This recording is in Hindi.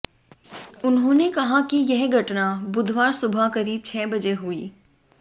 उन्होंने कहा कि यह घटना बुधवार सुबह करीब छह बजे हुई